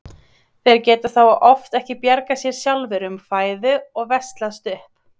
Þeir geta þá oft ekki bjargað sér sjálfir um fæðu og veslast upp.